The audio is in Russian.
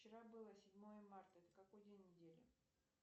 вчера было седьмое марта это какой день недели